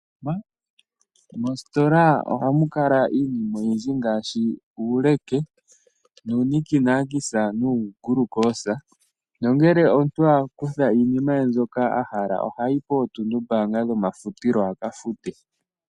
Mositola ohamu kala iinima oyindji ngaashi uuleke, nunikinakisa nungulukosa nongele omuntu a kutha iinima ye mbyoka ahala ohayi pontunumba dho mafutilo a kafute.